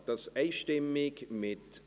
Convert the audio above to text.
Sie tun das einstimmig mit …